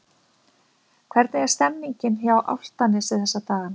Hvernig er stemningin hjá Álftanesi þessa dagana?